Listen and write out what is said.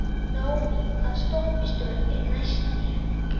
Naómí, hvaða stoppistöð er næst mér?